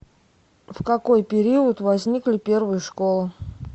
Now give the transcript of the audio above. в какой период возникли первые школы